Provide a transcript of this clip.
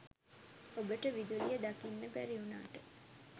ඔබට විදුලිය දකින්න බැරි වුනාට